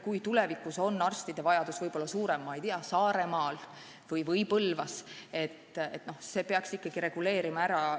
Kui tulevikus on arstide vajadus suurem näiteks Saaremaal või Põlvas, siis reguleerib see seadus õigusruumi ka nendele.